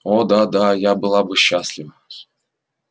о да да я была бы счастлива